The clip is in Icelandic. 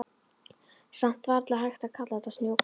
Samt varla hægt að kalla þetta snjókomu.